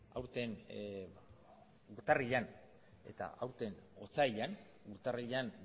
aurten urtarrilean eta aurten otsailean urtarrilean